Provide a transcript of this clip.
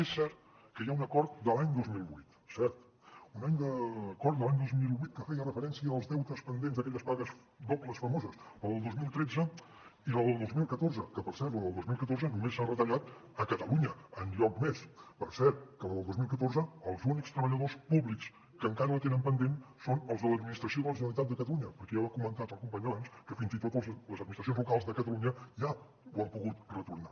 és cert que hi ha un acord de l’any dos mil vuit cert un acord de l’any dos mil vuit que feia referència als deutes pendents d’aquelles pagues dobles famoses la del dos mil tretze i la del dos mil catorze que per cert la del dos mil catorze només s’ha retallat a catalunya enlloc més per cert que la del dos mil catorze els únics treballadors públics que encara la tenen pendent són els de l’administració de la generalitat de catalunya perquè ja ho ha comentat el company abans fins i tot les administracions locals de catalunya ja l’han pogut retornar